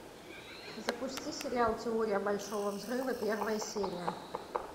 запусти сериал теория большого взрыва первая серия